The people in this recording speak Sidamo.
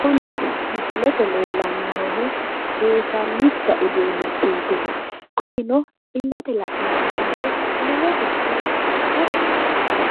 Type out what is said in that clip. kuni misilete aana leellanni noonkehu seesallicha uduunnichooti kunino illete la'nanni woyite lowo geeshsha tashshi assanno